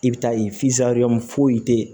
I bɛ taa ye foyi tɛ ye